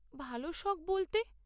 ভালো শখ বলতে?